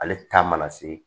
Ale ta mana se